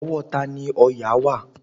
Ọwọ́ tani òòyà wà?